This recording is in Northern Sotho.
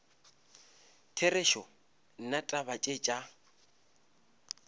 therešo nna taba tše tša